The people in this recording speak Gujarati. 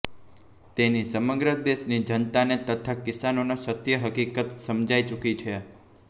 તેની સમ્રગ દેશની જનતાને તથા કિસાનોને સત્ય હકિકત સમજાઇ ચૂકી છે